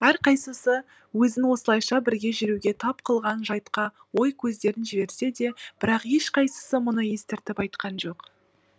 әрқайсысы өзін осылайша бірге жүруге тап қылған жайтқа ой көздерін жіберсе де бірақ ешқайсысы мұны естіртіп айтқан жоқ